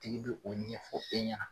tigi be o ɲɛfɔ e ɲana.